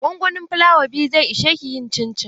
Gongonin flawa biyu zai ishe ki yin cincin?